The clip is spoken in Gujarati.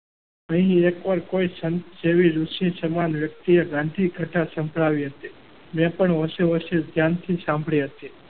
એ પણ કોઈ ઋષિ સમાજ વ્યક્તિએ ગાંધી ઘટા સંભળાવી હતી. મેં પણ હોશે હોશે ધ્યાનથી સાંભળી હતી.